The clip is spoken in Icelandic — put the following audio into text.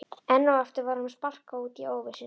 Enn og aftur var honum sparkað út í óvissuna.